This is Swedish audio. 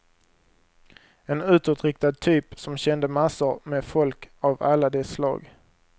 En utåtriktad typ som kände massor med folk av alla de slag.